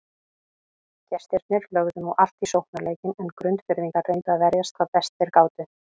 Gestirnir lögðu nú allt í sóknarleikinn en Grundfirðingar reyndu að verjast hvað best þeir gátu.